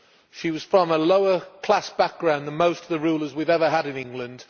She was from a lower class background than most of the rulers we have ever had in England.